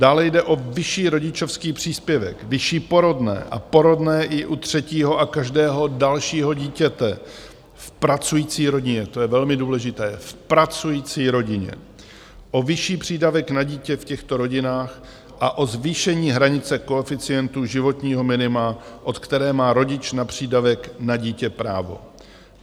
Dále jde o vyšší rodičovský příspěvek, vyšší porodné a porodné i u třetího a každého dalšího dítěte v pracující rodině - to je velmi důležité, v pracující rodině - o vyšší přídavek na dítě v těchto rodinách a o zvýšení hranice koeficientu životního minima, od které má rodič na přídavek na dítě právo.